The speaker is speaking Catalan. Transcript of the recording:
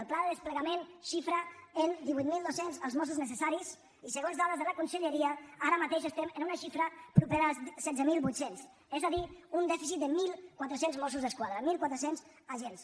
el pla de desplegament xifra en divuit mil dos cents els mossos necessaris i segons dades de la conselleria ara mateix estem en una xifra propera als setze mil vuit cents és a dir un dèficit de mil quatre cents mossos d’esquadra mil quatre cents agents